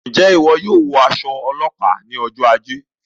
Njẹ iwọ yóò wọ aṣọ ilé ọlópàá ní ọjọ ajé?